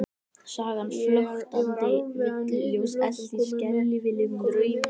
Sagan flöktandi villuljós elt í skelfilegum draumi?